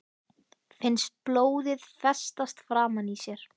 Finnst blóðið festast framan í sér.